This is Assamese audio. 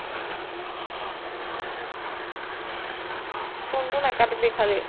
phone টো নাকাটিবি খালি।